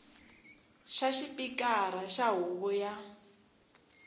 xa xipikara xa huvo ya